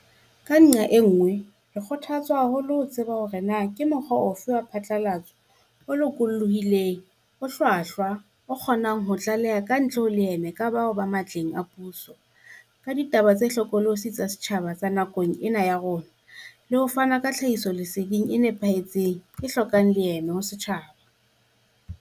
Ka nqa e nngwe, re kgotha tswa haholo ke ho tseba hore re na le mokgwaphatlalatso o lokolohileng, o hlwahlwa o kgonang ho tlaleha kantle ho leeme ka bao ba matleng a puso, ka ditaba tse hlokolosi tsa setjhaba tsa nakong ena ya rona, le ho fana ka tlhahisoleseding e nepahetseng, e hlokang leeme ho setjhaba.